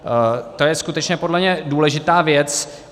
To je skutečně podle mě důležitá věc.